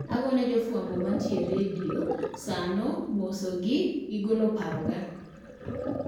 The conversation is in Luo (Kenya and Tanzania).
Agoyo ne jafwambo ma nitie e redio saa no mose gi golo paro ga